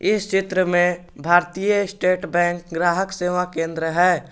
इस क्षेत्र में भारतीय स्टेट बैंक ग्राहक सेवा केन्द्र हैं।